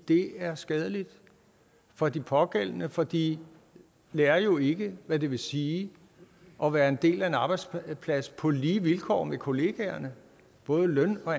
det er skadeligt for de pågældende for de lærer jo ikke hvad det vil sige at være en del af en arbejdsplads på lige vilkår med kollegaerne både løn og